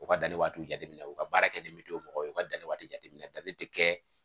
U ka danni waatiw jateminɛ u ka baara kɛ ni bi do mɔgɔ ye u ka danni waati jateminɛ danni te kɛ